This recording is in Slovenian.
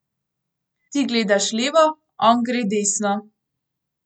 Ti gledaš levo, on gre desno.